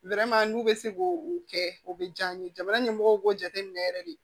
n'u bɛ se k'o kɛ o bɛ diya n ye jamana ɲɛmɔgɔw b'o jateminɛ yɛrɛ de